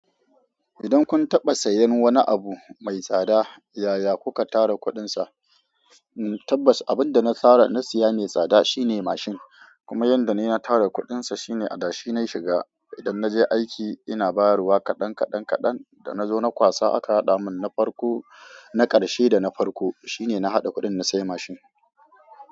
Idan kun taɓa sayan wani abu mai tsada yaya kuka tara kuɗinsa? Tabbas abin da na tara na siya ne tsada, shine mashin. Kuma yanda na tara kuɗinsa shine adashi na shiga idan naje aiki ina bayarwa kaɗan kaɗan kaɗan. Da nazo na kwasa aka hada mun na karshe da na farko shine na hada kuɗin na siya mashin.